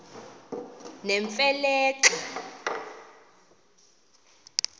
nemfe le xa